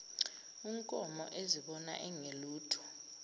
unkomo ezibona engelutho